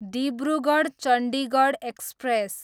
Dibrugarh, Chandigarh express